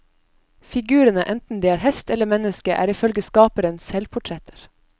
Figurene, enten de er hest eller menneske, er ifølge skaperen selvportretter.